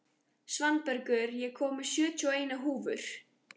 Svanbergur, ég kom með sjötíu og eina húfur!